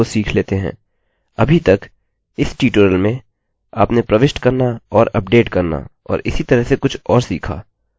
अभी तकइस ट्यूटोरियल मेंआपने प्रविष्ट करना और अपडेट करना और इसी तरह से कुछ और सीखा